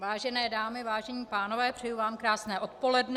Vážené dámy, vážení pánové, přeji vám krásné odpoledne.